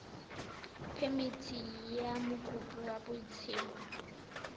phemithi ya mokopi wa botshabelo